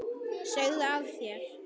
Segðu af þér!